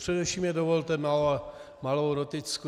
Především mi dovolte malou noticku.